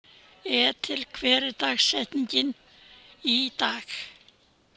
Ethel, hver er dagsetningin í dag?